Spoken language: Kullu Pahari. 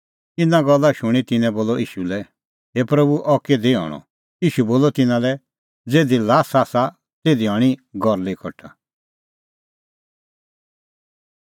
इना गल्ला शूणीं तिन्नैं ईशू लै बोलअ हे प्रभू अह किधी हणअ ईशू बोलअ तिन्नां लै ज़िधी ल्हासा आसा तिधी हणीं गरली कठा